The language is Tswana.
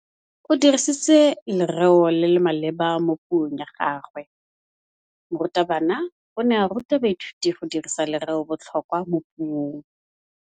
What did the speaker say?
O dirisitse lerêo le le maleba mo puông ya gagwe. Morutabana o ne a ruta baithuti go dirisa lêrêôbotlhôkwa mo puong.